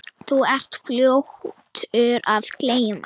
Þú ert fljótur að gleyma.